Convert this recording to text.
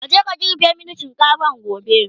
kaje ka girbe min shinkafan gobe!